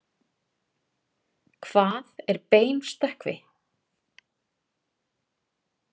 Hvað er beinstökkvi?